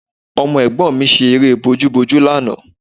Ọmọ ẹ̀gbọ́n mi ṣe eré bojúbojú lánàá